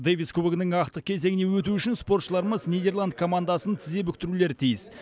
дэвис кубогінің ақтық кезеңіне өту үшін спортшыларымыз нидерланд командасын тізе бүктірулері тиіс